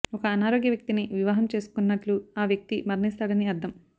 ఒక అనారోగ్య వ్యక్తిని వివాహం చేసుకున్నట్లు ఆ వ్యక్తి మరణిస్తాడని అర్థం